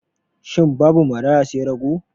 Shin babu maraya sai rago?